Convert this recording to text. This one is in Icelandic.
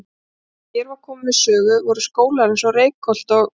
Og þegar hér var komið sögu voru skólar eins og Reykholt og